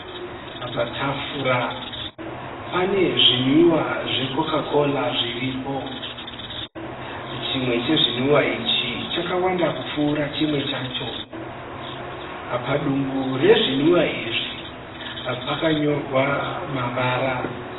Patafura pane zvinwiwa zve"Coca-cola" zviripo. Chimwe chezvinwiwa ichi chakawanda kupfuura chimwe chacho. Padumbu rezvinwiwa izvi pakanyorwa mavara.